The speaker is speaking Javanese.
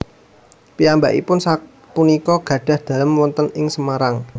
Piyambakipun sak punika gadhah dalem wonten ing Semarang